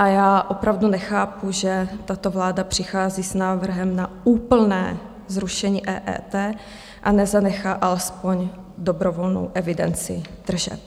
A já opravdu nechápu, že tato vláda přichází s návrhem na úplné zrušení EET a nezanechá alespoň dobrovolnou evidenci tržeb.